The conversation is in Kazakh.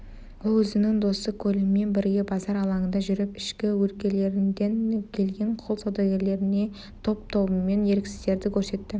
ол өзінің досы колинмен бірге базар алаңында жүріп ішкі өлкелерден келген құл саудагерлеріне топ-тобымен еріксіздерді көрсетті